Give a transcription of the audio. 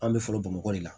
An bɛ fɔlɔ bamakɔ de la